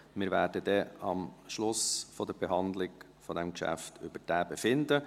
Wir werden am Schluss der Behandlung dieses Geschäfts darüber befinden.